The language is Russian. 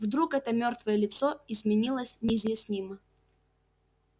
вдруг это мёртвое лицо изменилось неизъяснимо